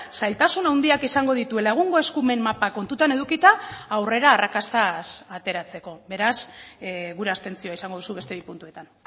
zailtasun handiak izango dituela egungo eskumen mapa kontutan edukita aurrera arrakastaz ateratzeko beraz gure abstentzioa izango duzu beste bi puntuetan